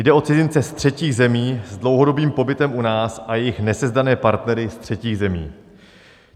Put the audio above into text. Jde o cizince ze třetích zemí s dlouhodobým pobytem u nás a jejich nesezdané partnery ze třetích zemí.